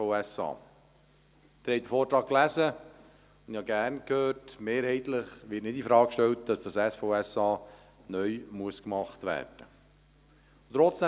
Sie haben den Vortrag gelesen, und ich habe geschätzt, zu hören, dass mehrheitlich nicht infrage gestellt wird, dass dieses SVSA neu gebaut werden muss.